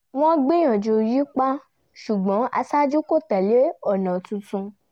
wọ́n gbìyànjú yípa ṣùgbọ́n aṣáájú kó tẹ̀lé ọ̀nà tuntun